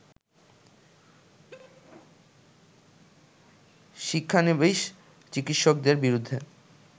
শিক্ষানবিস চিকিৎসকদের বিরুদ্ধে